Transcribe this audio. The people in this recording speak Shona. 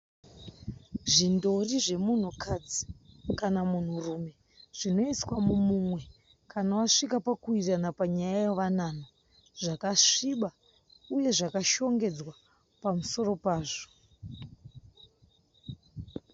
Zvindori zvemunhukadzi kana munhurume zvinoiswa mumumwe kana vasvika pakuwirirana panyaya yewanano, zvakasviba uye zvakashongedzwa pamusoro pazvo.